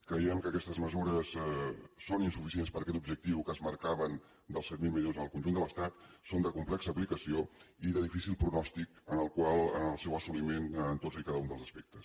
creiem que aquestes mesures són insuficients per a aquest objectiu que es marcaven dels set mil milions al conjunt de l’estat i són de complexa aplicació i de difícil pronòstic en el seu assoliment en tots i cada un dels aspectes